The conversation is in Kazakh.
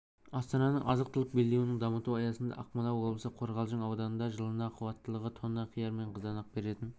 астананың азық-түлік белдеуін дамыту аясында ақмола облысы қорғалжын ауданында жылына қуаттылығы тонна қияр мен қызанақ беретін